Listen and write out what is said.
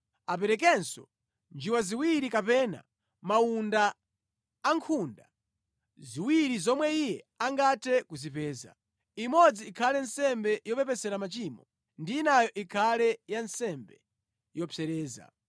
Aperekenso njiwa ziwiri kapena mawunda awiri zomwe iye angathe kuzipeza. Imodzi ikhale nsembe yopepesera machimo, ndi inayo ikhale ya nsembe yopsereza.